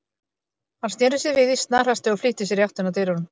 Hann sneri sér við í snarhasti og flýtti sér í áttina að dyrunum.